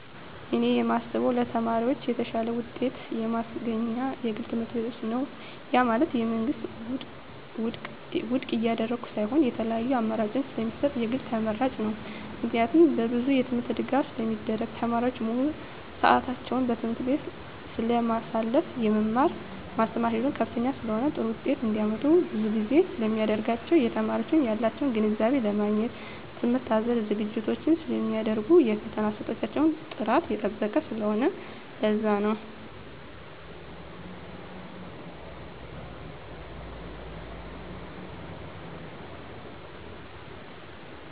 እኔ የማስበው ለተማሪዎች የተሻለ ውጤት የማስገኝ የግል ትምህርትቤት ነው ያ ማለት የመንግስትን ውድቅ እያደረኩ ሳይሆን የተለያዪ አማራጭ ስለሚሰጠን የግል ተመራጭ ነው። ምክንያቱም በብዙ የትምህርት ድጋፍ ስለሚደረግ , ተማሪዎች ሙሉ ስዕታቸውን በትምህርት ቤቱ ስለማሳልፋ , የመማር ማስተማር ሂደቱ ከፍተኛ ስለሆነ ጥሩ ውጤት እንዳመጡ ብዙ ድጋፍ ስለሚደረግላቸው , የተማሪዎች ያላቸውን ግንዛቤ ለማግኘት ትምህርት አዘል ዝግጅቶች ስለሚደረጉ የፈተና አሰጣጣቸው ጥራቱን የጠበቀ ስለሆነ ለዛ ነው